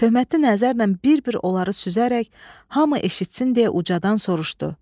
Töhmətli nəzərlə bir-bir onları süzərək hamı eşitsin deyə ucadan soruşdu.